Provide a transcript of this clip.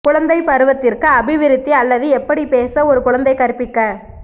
குழந்தை பருவத்திற்கு அபிவிருத்தி அல்லது எப்படி பேச ஒரு குழந்தை கற்பிக்க